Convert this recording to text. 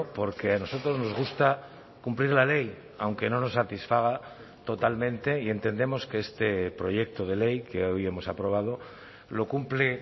porque a nosotros nos gusta cumplir la ley aunque no nos satisfaga totalmente y entendemos que este proyecto de ley que hoy hemos aprobado lo cumple